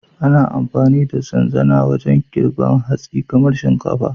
Ana amfani da zanzana wajen girbar hatsi kamar shinkafa.